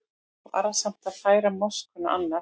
Varasamt að færa moskuna annað